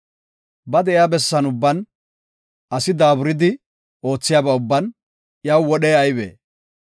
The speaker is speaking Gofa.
Ba de7iya bessan ubban, asi daaburidi oothiyaba ubban iyaw wodhey aybee?